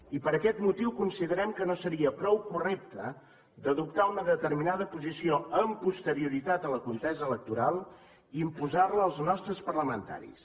i per aquest motiu considerem que no seria prou correcte d’adoptar una determinada posició amb posterioritat a la contesa electoral i imposar la als nostres parlamentaris